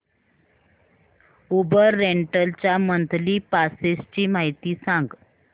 Uber rental च्या monthly passes ची माहिती सांग